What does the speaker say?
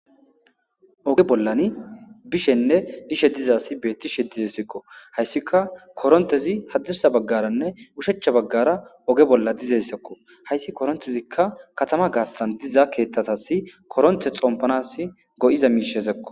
Oge bollani bishenne ishe diza asi beettishe dizessekko hayssika korontezi haddissa baggaranne ushecha baggara oge bolla dizessekko hayssi korontezikka katama gaaththan diza keeththasasi koronte xompanas go'iza miishezekko.